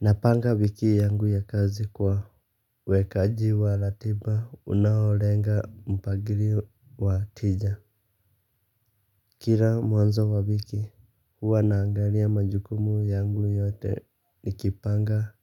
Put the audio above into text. Napanga wiki yangu ya kazi kuwa wekaji wa ratiba unaolenga mpangilio wa tija. Kila mwanzo wa wiki huwa naangalia majukumu yangu yote nikipanga